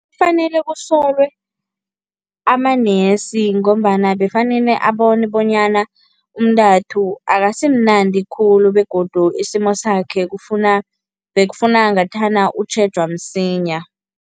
Kufanele usolelwe amanesi ngombana bafanele abone bonyana umntathu akasimnandi khulu begodu isimo sakhe kufuna bekufuna ngathana utjhejwa msinya.